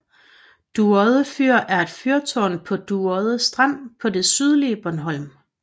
Dueodde Fyr er et fyrtårn på Dueodde Strand på det sydlige Bornholm